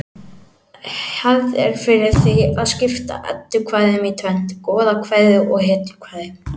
Hefð er fyrir því að skipta eddukvæðum í tvennt: goðakvæði hetjukvæði